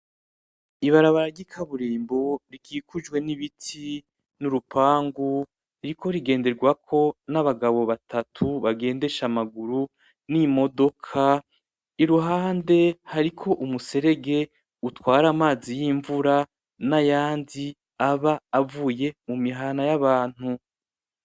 Ibarabara ry'ikaburimbo rikikujwe n'ibiti, n'urupangu, ririko rigenderwako N’abagabo batu bagendesha amaguru ,n'imodoka, iruhande hariho umuserege utwara amazi y'imvura n'ayandi aba avuye mumihana y'abantu.